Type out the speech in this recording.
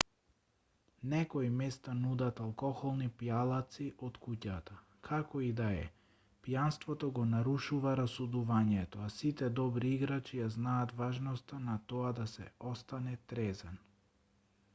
некои места нудат алкохолни пијалаци од куќата како и да е пијанството го нарушува расудувањето а сите добри играчи ја знаат важноста на тоа да се остане трезен